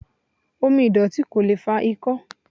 Omi ìdọ̀tí ko lee fa ikó̩